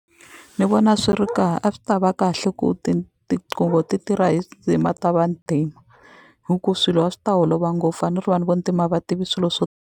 Ni vona swi ri a swi tava kahle ku tinqingho ti tirha hi ta vantima hi ku swilo a swi ta olova ngopfu a ni ri vanhu va ntima a va tivi swilo swo.